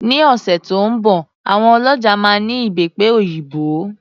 Ní ọ̀sẹ̀ tí ó ń bọ̀ àwọn ọlọ́ja máa ní Ìbẹ́pe òyìnbó.